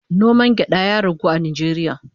Noman gyada ya ragu a Najeriya